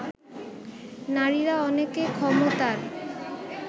নারীরা অনেকে ক্ষমতার